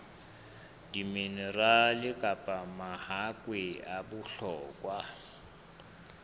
diminerale kapa mahakwe a bohlokwa